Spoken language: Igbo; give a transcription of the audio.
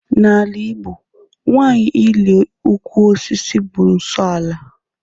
N'ala Igbo, nwanyị ịli ụkwụ osisi bụ nsọ ala